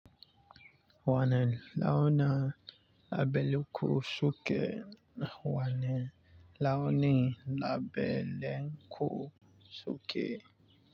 Wani launin labele ku shuke. Wane launi labulanku suke.